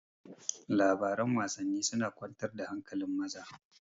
Labaran Wasanni suna kwantar da hankali maza